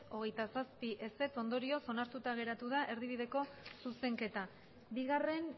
hogeita zazpi ondorioz onartuta geratu da erdibideko zuzenketa bigarren